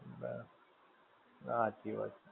ના હાચી વાત છે.